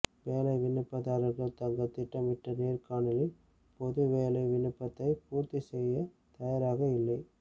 வேலை விண்ணப்பதாரர்கள் தங்கள் திட்டமிடப்பட்ட நேர்காணலின் போது வேலை விண்ணப்பத்தை பூர்த்தி செய்யத் தயாராக இல்லை